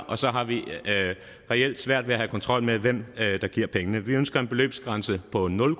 og så har vi reelt svært ved at have kontrol med hvem der giver pengene vi ønsker en beløbsgrænse på nul